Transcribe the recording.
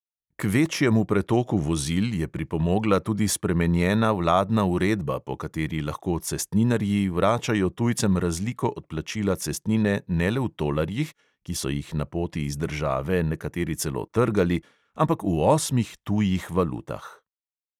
K večjemu pretoku vozil je pripomogla tudi spremenjena vladna uredba, po kateri lahko cestninarji vračajo tujcem razliko od plačila cestnine ne le v tolarjih (ki so jih na poti iz države nekateri celo trgali), ampak v osmih tujih valutah.